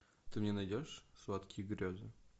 ты мне найдешь сладкие грезы